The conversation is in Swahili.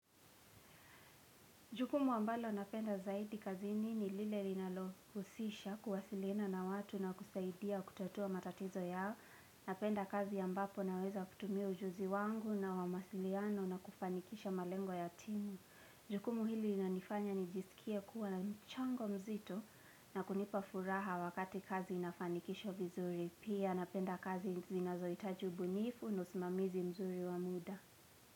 Jukumu ambalo napenda zaidi kazi nini lile li nalohusisha kuwasilina na watu na kusaidia kutatua matatizo yao. Napenda kazi ya mbapo naweza kutumia ujuzi wangu na wamasiliano na kufanikisha malengo ya timu. Jukumu hili inanifanya nijisikia kuwa na mchango mzito na kunipa furaha wakati kazi inafanikisho vizuri. Pia napenda kazi zinazo itajubunifu nasimamizi mzuri wamuda.